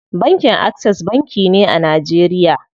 Bankin Access banki ne a Najeriya.